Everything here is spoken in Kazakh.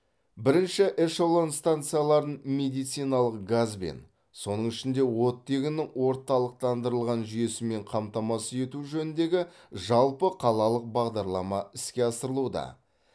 бірінші эшелон стационарларын медициналық газбен соның ішінде оттегінің орталықтандырылған жүйесімен қамтамасыз ету жөніндегі жалпықалалық бағдарлама іске асырылуда